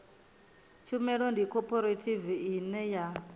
tshumelo ndi khophorethivi ine ya